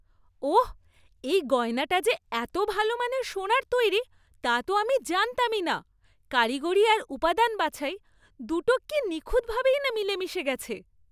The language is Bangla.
ওহ্, এই গয়নাটা যে এত ভালো মানের সোনার তৈরি তা তো আমি জানতামই না! কারিগরি আর উপাদান বাছাই দুটো কী নিখুঁতভাবেই না মিলেমিশে গেছে!